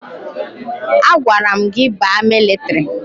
A gwara m gị baa paramilitiri!